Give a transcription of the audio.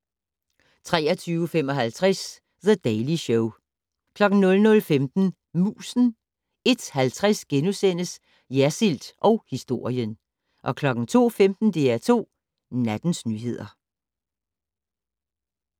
23:55: The Daily Show 00:15: Musen 01:50: Jersild & historien * 02:15: DR2 Nattens nyheder